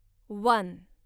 one